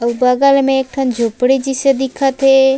आऊ बगल में एक ठन झोपड़ी जैसे दिखत हे।